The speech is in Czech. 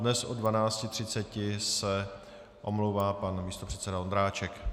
Dnes od 12.30 se omlouvá pan místopředseda Vondráček.